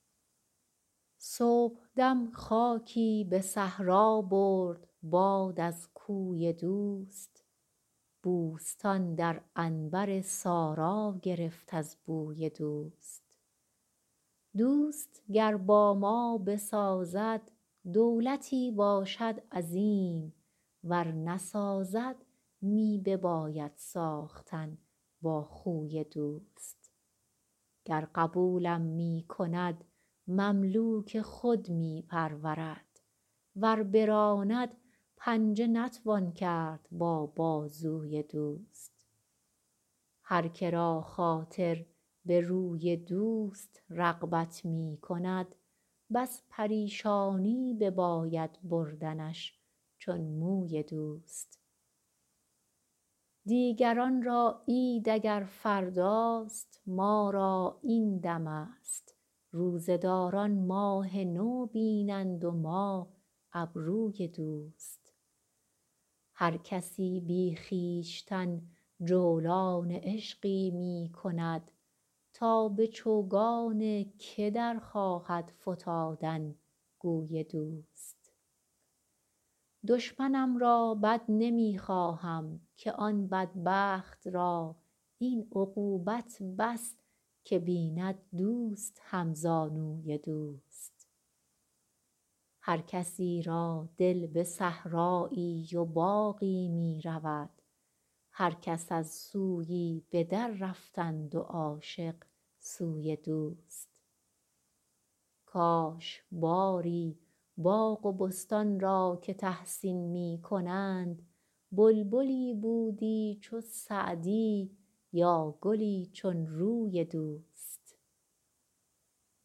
صبحدم خاکی به صحرا برد باد از کوی دوست بوستان در عنبر سارا گرفت از بوی دوست دوست گر با ما بسازد دولتی باشد عظیم ور نسازد می بباید ساختن با خوی دوست گر قبولم می کند مملوک خود می پرورد ور براند پنجه نتوان کرد با بازوی دوست هر که را خاطر به روی دوست رغبت می کند بس پریشانی بباید بردنش چون موی دوست دیگران را عید اگر فرداست ما را این دمست روزه داران ماه نو بینند و ما ابروی دوست هر کسی بی خویشتن جولان عشقی می کند تا به چوگان که در خواهد فتادن گوی دوست دشمنم را بد نمی خواهم که آن بدبخت را این عقوبت بس که بیند دوست همزانوی دوست هر کسی را دل به صحرایی و باغی می رود هر کس از سویی به دررفتند و عاشق سوی دوست کاش باری باغ و بستان را که تحسین می کنند بلبلی بودی چو سعدی یا گلی چون روی دوست